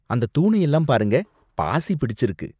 அந்த தூணை எல்லாம் பாருங்க, பாசி பிடிச்சிருக்கு